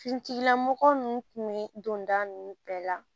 Finitigilamɔgɔ ninnu tun bɛ don da ninnu bɛɛ la